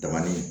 Dabani